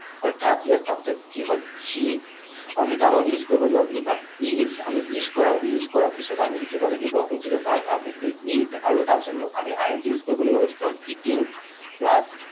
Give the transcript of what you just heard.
অৰ্থাৎ ইয়াৰ subject কি হল? সি, আমি তাৰ লগত use কৰিব লাগিব be verb, he is, আমি is কৰা, use কৰা পিছত আমি লিখিব লাগিব যিটো verb, verb লিখিলো eat, আৰু তাৰপিছত আমি I N G use কৰিব লাগিব। গতিকে হল eating, plus